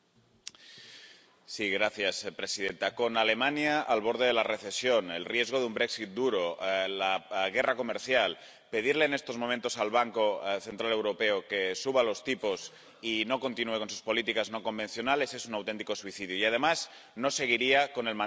Señora presidenta, con Alemania al borde de la recesión, el riesgo de un duro y la guerra comercial, pedirle en estos momentos al Banco Central Europeo que suba los tipos y no continúe con sus políticas no convencionales es un auténtico suicidio y, además, no seguiría con el mandato que tiene encomendado.